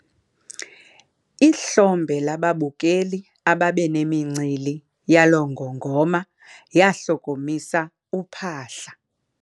Ihlombe lababukeli ababenemincili yaloo ngongoma lahlokomisa uphahla.